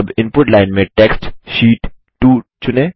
अब input line में text sheet 2 चुनें